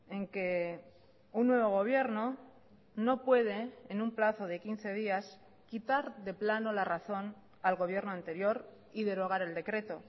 en que un nuevo gobierno no puede en un plazo de quince días quitar de plano la razón al gobierno anterior y derogar el decreto